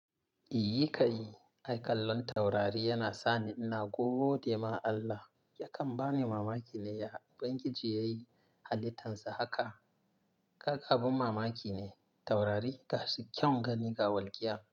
"Yi ka yi, aikalan taurari yana sani ina. Ko gode ma Allah, yakan bani mamaki ne. Banki ji yayi halittan sa haka. Kaka abin mamaki ne, taurari tashi kyau gani ga walƙiya."